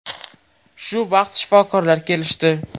Shu vaqt shifokorlar kelishdi.